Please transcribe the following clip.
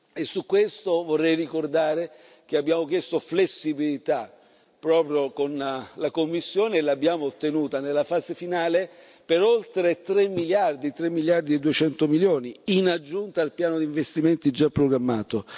E su questo vorrei ricordare che abbiamo chiesto flessibilità, proprio alla Commissione, e l'abbiamo ottenuta nella fase finale per oltre 3 miliardi 3 miliardi e 200 milioni in aggiunta al piano di investimenti già programmato.